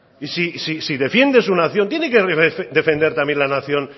y si defiendes una nación tiene que defender también la nación